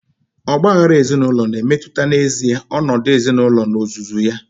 Ọgba aghara ezinaụlọ na-emetụta n'ezie ọnọdụ ezinaụlọ n'ozuzu ya.